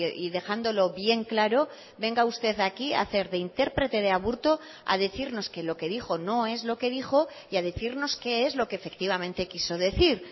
y dejándolo bien claro venga usted aquí a hacer de intérprete de aburto a decirnos que lo que dijo no es lo que dijo y a decirnos qué es lo que efectivamente quiso decir